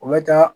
O bɛ taa